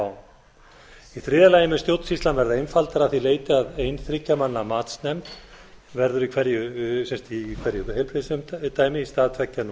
á í þriðja lagi mun stjórnsýslan verða einfaldari að því leyti að ein þriggja manna matsnefnd verður í hverju heilbrigðisumdæmi í stað tveggja nú